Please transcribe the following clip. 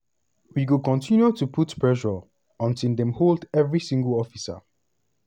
"we go continue to put pressure until dem hold every single officer